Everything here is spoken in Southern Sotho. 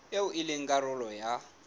eo e leng karolo ya